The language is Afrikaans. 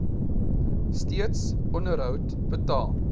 steeds onderhoud betaal